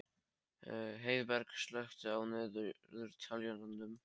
Heiðberg, slökktu á niðurteljaranum.